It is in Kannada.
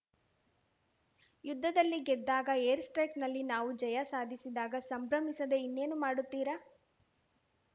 ಯುದ್ಧದಲ್ಲಿ ಗೆದ್ದಾಗ ಏರ್‌ಸ್ಟ್ರೈಕ್‌ನಲ್ಲಿ ನಾವು ಜಯ ಸಾಧಿಸಿದಾಗ ಸಂಭ್ರಮಿಸದೇ ಇನ್ನೇನು ಮಾಡುತ್ತೀರಾ